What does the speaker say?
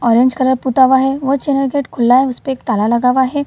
orange colour पुता हुआ है और गेट खुल्ला है उसपे एक ताला लगा हुआ है |